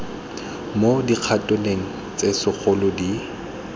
mo dikhatoneng tse segolo di